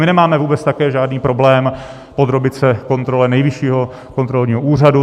My nemáme vůbec také žádný problém podrobit se kontrole Nejvyššího kontrolního úřadu.